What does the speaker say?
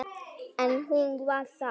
En hún var það.